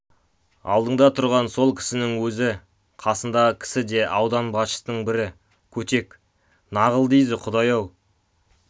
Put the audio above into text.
алдыңда тұрған сол кісінің өзі қасындағы кісі де аудан басшысының бірі көтек нағыл дейді құдай-ау